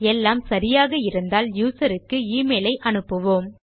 எல்லாம் சரியாக இருந்தால் யூசர் க்கு எமெயில் ஐ அனுப்புவோம்